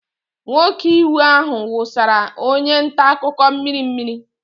Nwoke iwe ahụ wụsara onye nta akụkọ mmiri mmiri.